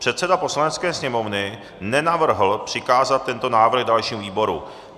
Předseda Poslanecké sněmovny nenavrhl přikázat tento návrh dalšímu výboru.